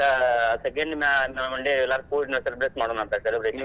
ಮತ್ತ್ second one day ಎಲ್ಲಾ ಕೂಡಿ celebrate ಮಾಡೂನಾಂತ್ celebration .